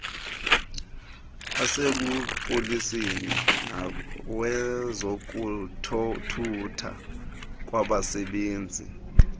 asebupoliseni nawezothutho kwanabasebenzi